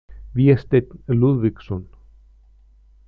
Vésteinn Lúðvíksson.